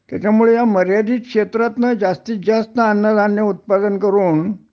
त्याच्यामुळे ह्या मर्यादित क्षेत्रातनं जास्तीतजास्त अन्नधान्य उत्पादन करून